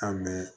An bɛ